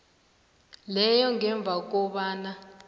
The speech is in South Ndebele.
leyo ngemva kobana